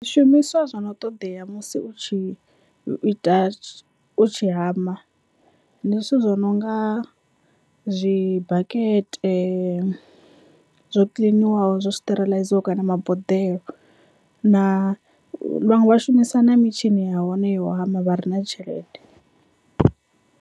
Zwishumiswa zwo no ṱoḓea musi u tshi ita u tshi hama ndi zwithu zwi nonga zwibakete zwo kiḽiniwaho zwo steriliziwaho kana maboḓelo na vhaṅwe vha shumisa na mitshini ya hone yo hama vha re na tshelede.